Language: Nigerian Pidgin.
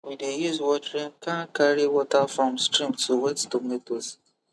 we dey use watering can carry water from stream to wet tomatoes